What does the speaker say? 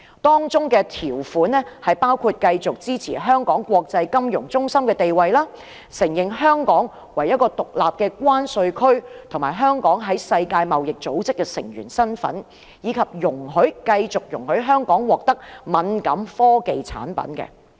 當中條款包括繼續支持香港國際金融中心的地位、承認香港為一個獨立的關稅區、香港在世界貿易組織的成員身份，以及繼續容許香港獲得敏感科技產品。